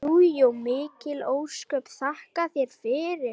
Jú jú, mikil ósköp, þakka þér fyrir.